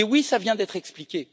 Oui, cela vient d'être expliqué.